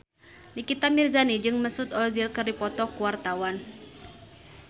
Nikita Mirzani jeung Mesut Ozil keur dipoto ku wartawan